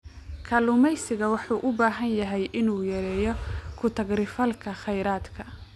Kalluumeysigu wuxuu u baahan yahay inuu yareeyo ku-takri-falka kheyraadka.